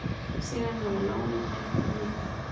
Síðan hafa lánin hækkað mikið.